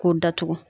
K'o datugu